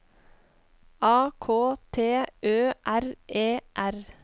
A K T Ø R E R